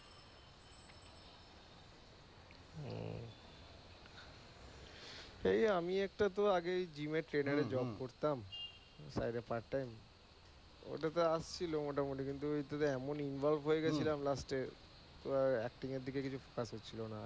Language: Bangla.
এই আমি একটা তো আগে gym এর trainer এর job করতাম as a part time ওটা তো আসছিল মোটামুটি কিন্তু ওতে এমন involve হয়ে গেছিলাম last এ তো আর acting এর দিকে কিছু ফারাক হছিলোনা।